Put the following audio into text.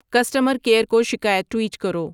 customer care کو شکایت tweet کرو